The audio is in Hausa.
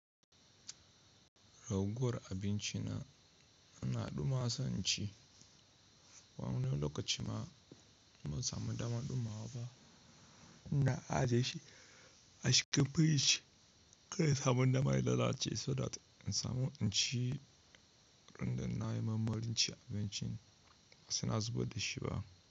Raguwar abinci na ana ɗuma san ci, wani lokaci ma idan ban samu damar ɗumawa ba, Ina ajiye shi a shikafe shi, kai samun dama ya lalace saboda in samu in ci runduna na marmarin in ci abincin ba sai na zubar da shi ba.